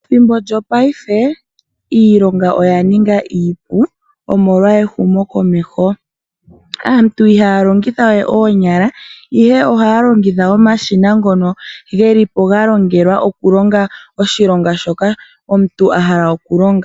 Methimbo lyopaife iilonga oyi li ya ninga iipu omolwa ehumokomeho. Aantu ihaya longitha we oonyala ihe ohaya longitha omashina ngono ge li ga longelwa oshilonga shoka omuntu a li ena oku shi longa nomake.